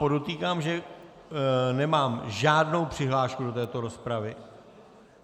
Podotýkám, že nemám žádnou přihlášku do této rozpravy.